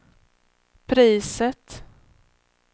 priset